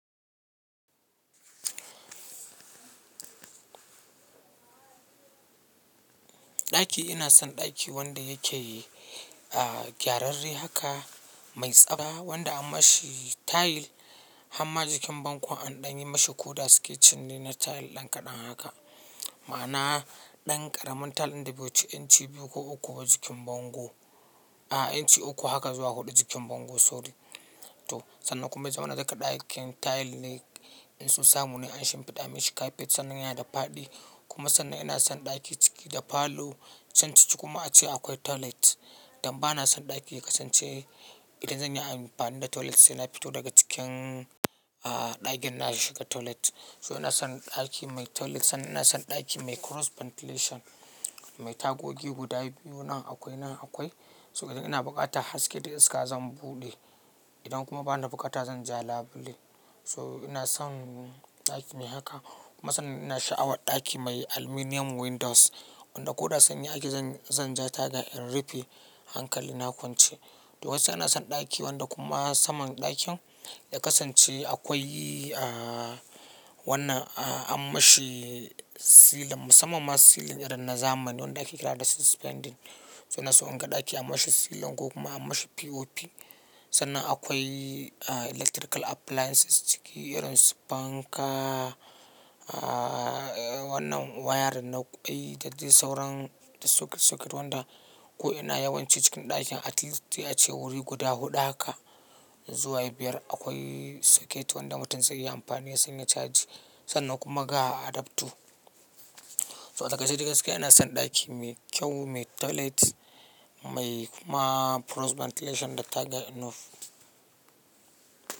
Ɗaki, ina son ɗaki wanda yake gyararre haka mai tsaba wanda an mashi tile hamma jikin bango anɗanyi mashi ko da sketching ne na tile dan kaɗan haka. Ma'ana ɗan ƙaramin tile ɗin da bai wuce inci biyu ko uku ba jikin bango. A'a inci uku haka zuwa huɗu jikin bango sorry. To sannan kuma yazamana duka ɗakin tile ne in so samu ne an shimfiɗa mashi capet sannan yana da faɗi kuma sannan ina son ɗaki ciki da falo can ciki kuma ace akwai toilet. Dan ba na son ɗaki ƙasance idan zan yi amfani da toilet sai na fito daga cikin ɗakin na shiga toilet. So ina son ɗaki mai toilet sannan ina son ɗaki mai cross ventilation mai tagogi guda biyu nan akwai nan akwai. So idan ina buƙatan haske da iska zan buɗe. Idan kuma bana buƙata zan ja labule. So ina son ɗaki mai haka kuma sannan ina sha'awar ɗaki mai aluminum windows wanda ko da sanyi ake zan, zan ja taga in rufe hankali na kwance. To gaskiya ina son ɗaki wanda kuma saman ɗakin ya kasance akwai wannan an mashi ceiling musamman ma ceiling irin na zamani wanda ake kira da suspended. So ina so in ga ɗaki an mashi ceiling ko kuma an mashi POP. Sannan akwai electrical appliances ciki irin su fanka, wannan wiring na ƙwai da zai sauran da socket socket wanda ko ina yawanci cikin ɗakin at least yace wuri guda huɗu haka zuwa biyar akwai socket wanda mutum zai iya amfani da su ya caji sannan kuma gaha adaptu. So a takaice da gaskiya ina son ɗaki mai kyau, mai toilet mai kuma cross ventilation da taga enough.